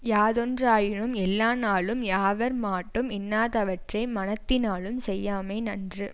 யாதொன்றாயினும் எல்லா நாளும் யாவர் மாட்டும் இன்னாதவற்றை மனத்தினாலும் செய்யாமை நன்று